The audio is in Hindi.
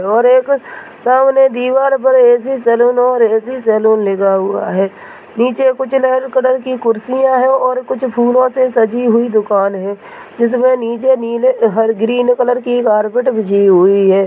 और एक सामने दिवार पर एसी सैलून और एसी सैलून लिखा हुआ है नीचे कुछ रेड कलर की कुर्सियां है और कुछ फुलो से सज्जी हुई दुकान है जिसमे नीचे नीले हरे ग्रीन कलर की कारपेट बिछी हुई है।